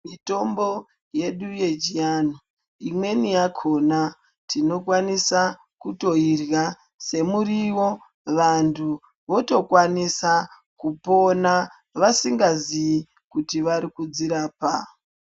Mitombo yedu yechianhu, imweni yakhona tinokwanisa kutoirya semuriwo vantu votokwanisa kupona vasingaziyi kuti vari kudzirapa.